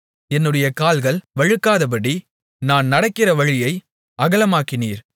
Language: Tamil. என்னுடைய கால்கள் வழுக்காதபடி நான் நடக்கிற வழியை அகலமாக்கினீர்